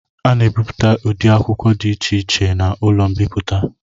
A na-ebipụta ụdị akwụkwọ dị iche iche n'ụlọ mbipụta.